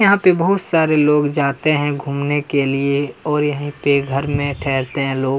यहाँ पे बहुत सारे लोग जाते है घुमने के लिए और यहीं पे घर में ठहरते है लोग --